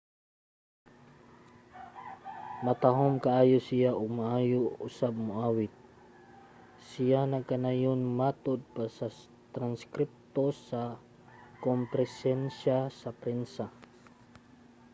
"matahom kaayo siya ug maayo usab moawit, siya nagkanayon matod pa sa transkripto sa komperensiya sa prensa